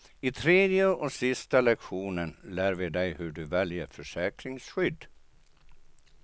I tredje och sista lektionen lär vi dig hur du väljer försäkringsskydd.